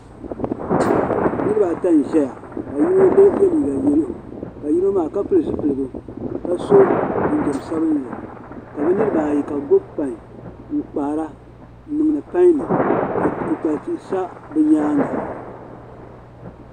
Niribi ata n zɛya ka yinɔ ye liiga yalow ka yinɔmaa kapili zupiligu ka so jinjam sabinli kabi niriba ayi ka bi gbubi pain n kpaara n niŋdi pain ni ka kpukpals sa bi nyaaŋa..